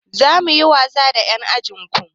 Za mu yi wasa da ƴan ajin ku.